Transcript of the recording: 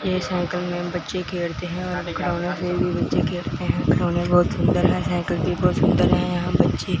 ये साइकिल में बच्चे खेलते हैं खिलौने बहुत सुंदर है साइकिल भी बहुत सुंदर है यहां बच्चे--